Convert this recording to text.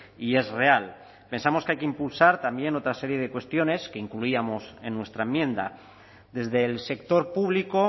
y es real pensamos que hay que impulsar también otra serie de cuestiones que incluíamos en nuestra enmienda desde el sector público